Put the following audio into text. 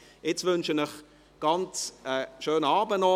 Jetzt wünsche ich Ihnen noch einen schönen Abend.